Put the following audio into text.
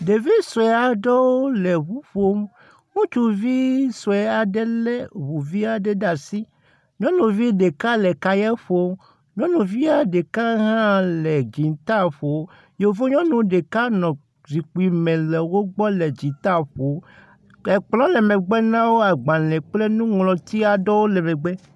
Ɖevi sue aɖewo le ŋu ƒom. Ŋutsvi sue aɖe le ŋu vi aɖe ɖe asi. Nyɔnuvi ɖeka le kaya ƒom. Nyɔnuvia ɖeka hã le dzita ƒom. Yevunyɔnu ɖeka nɔ zikpui me le wo gbɔ le dzita ƒom. Ke kplɔ le megbe na wo agbale kple nuŋlɔti aɖewo le megbe.